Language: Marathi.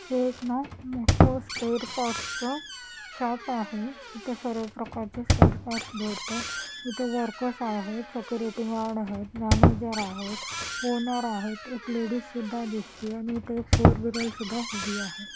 हे एक ना मोठं स्पेअर पार्ट शॉप आहे इथं सर्व प्रकारचे स्पेअर पार्ट भेटतात इथे वर्कर्स आहेत सेक्युरिटी गार्ड आहेत मॅनेजर आहेत ओनर आहेत एक लेडीज सुद्धा दिसते आणि इथे एक फोर व्हीलर सुद्धा उभी आहे.